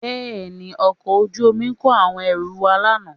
Bẹ́ẹ̀ni, ọkọ̀ ojú omi kó àwọn ẹrù wá lánàá